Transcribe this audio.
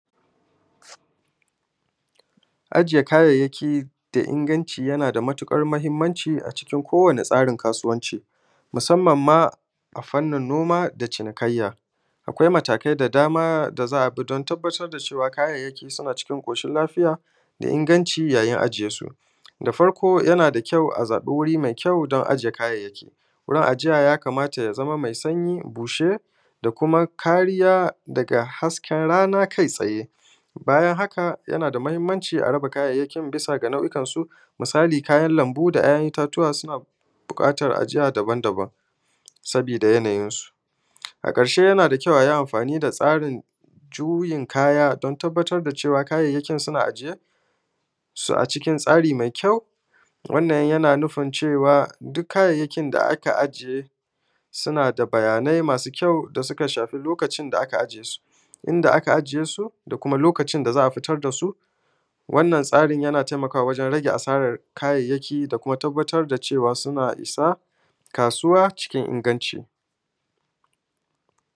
Ajiye kayayyaki da ingantci na da matuƙar mahimmanci a cikin kowanne tsarin kasuwanci, musamman ma a fannin noma da cinikayya. Akwai matakai da dama da za a bi don tabbatar da cewa kayayƙi suna cikin ƙoshin-lafiya da ingantci yayin ajiye su. Da farko, yana da kyau a zaɓi gurin ajiya mai kyau don ajiye kayayyaki. Gurin ajiya ya kamata a ce ya zama gurin mai sanyi, bushe, da kuma kariya daga hasken rana kai tsaye. Bayan haƙa, yana da mahimmanci raba kayayƙi bisa ga nau’ikan su. Misali, kayan lambu da ’ya’yan itace suna buƙatan ajiya daban-daban saboda yanayinsu. A ƙarshe, ana son a yi amfani da tsarin juyin kaya don tabbatar da cewa kayayƙi suna ajiye su a cikin tsari mai kyau. Wannan yana nufin cewa duk kayayƙin da aka ajiye suna da bayanai mai kyau da suka shafi lokacin da aka ajiye su, inda aka ajiye su, da kuma lokacin da za a fitar da su. Wannan tsarin yana tayammu wajen rage asaran kayayyki da kuma tabbatar da cewa yana isa kasuwa cikin ingantci.